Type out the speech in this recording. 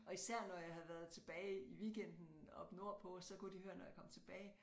Og især når jeg havde været tilbage i weekenden oppe nordpå så kunne de høre når jeg kom tilbage